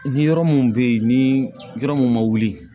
Ni yɔrɔ mun bɛ yen ni yɔrɔ mun ma wuli